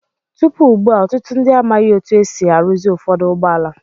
Tupu ugbu a, ọtụtụ ndị amaghị otú e si arụzi ụfọdụ ụgbọala.